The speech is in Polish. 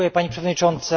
Pani Przewodnicząca!